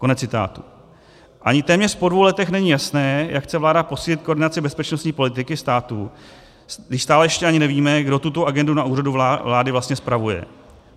Ani téměř po dvou letech není jasné, jak chce vláda posílit koordinaci bezpečnostní politiky státu, když stále ještě ani nevíme, kdo tuto agendu na Úřadu vlády vlastně spravuje.